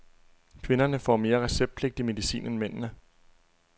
Kvinderne får mere receptpligtig medicin end mændene.